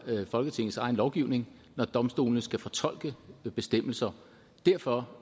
folketingets egen lovgivning når domstolene skal fortolke bestemmelser derfor